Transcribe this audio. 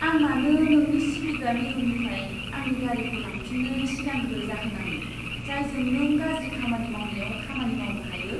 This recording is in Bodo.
आं मानो नोंनि सिबिग्रा मिरुनिफ्राय आंनि गारिखौ लांफिननो सिगांग्रो जाहोनाङो, जायजों नों गाज्रि खामानि मावनायाव खामानि मावनो हायो?